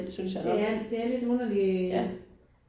Ja det er lidt underlig